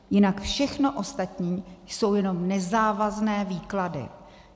Jinak všechno ostatní jsou jenom nezávazné výklady.